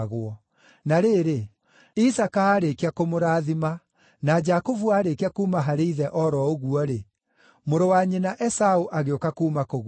Na rĩrĩ, Isaaka aarĩkia kũmũrathima na Jakubu aarĩkia kuuma harĩ ithe o ro ũguo-rĩ, mũrũ wa nyina Esaũ agĩũka kuuma kũguĩma.